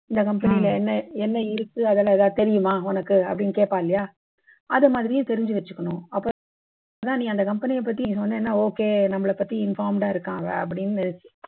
இந்த company ல என்ன என்ன இருக்கு அதெல்லாம் ஏதாவது தெரியுமா உனக்கு அப்படின்னு கேட்பான் இல்லையா அதை மாதிரியே தெரிஞ்சு வச்சுக்கணும் அப்பதான் நீ அந்த company யை பத்தி நீ சொன்னன்னா okay நம்மளை பத்தி informed ஆ இருக்காங்க அப்படின்னு